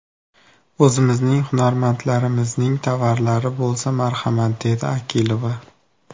O‘zimizning hunarmandlarimizning tovarlari bo‘lsa marhamat”, dedi Akilova.